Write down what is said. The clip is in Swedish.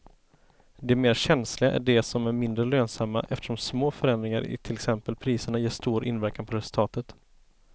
De mer känsliga är de som är mindre lönsamma eftersom små förändringar i till exempel priserna ger stor inverkan på resultatet.